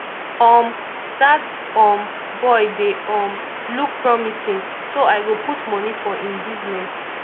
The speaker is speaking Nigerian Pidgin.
um dat um boy dey um look promising so i go put money for im business